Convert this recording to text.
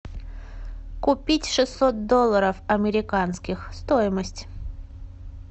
купить шестьсот долларов американских стоимость